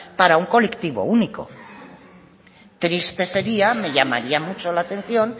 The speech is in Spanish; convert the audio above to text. para un colectivo único triste sería me llamaría mucho la atención